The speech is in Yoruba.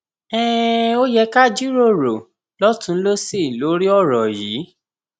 um ẹ jẹ ká jíròrò lọtùnún lósì lórí ọrọ yìí